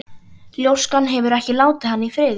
Ljóskan hefur ekki látið hann í friði síðan.